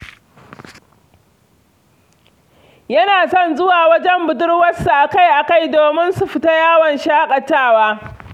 Yana son zuwa wajen budurwarsa a-kai-a-kai domin su fita yawon shaƙatawa.